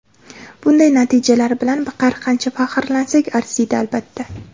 Bunday natijalar bilan har qancha faxrlansak arziydi, albatta.